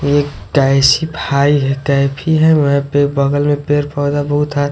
ये एक है टाइप की है वहां पे बगल में पेड़ पौधा बहुत है।